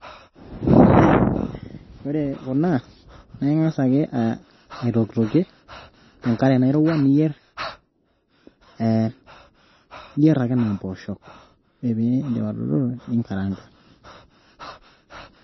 Ore Kuna naa inga'as ake aitokitilokie tenkare Nairowua niyierr, naa ake enaa empoosho ore pee iidip atodotu ningaraanga.